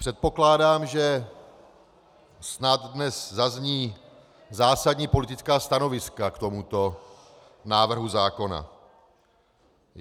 Předpokládám, že snad dnes zazní zásadní politická stanoviska k tomuto návrhu zákona.